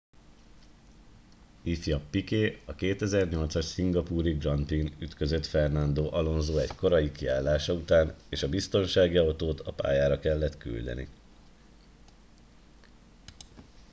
ifj piquet a 2008 as szingapúri grand prix n ütközött fernando alonso egy korai kiállása után és a biztonsági autót a pályára kellett küldeni